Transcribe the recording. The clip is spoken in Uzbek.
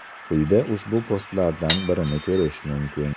Quyida ushbu postlardan birini korish mumkin.